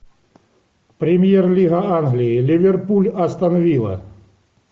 премьер лига англии ливерпуль астон вилла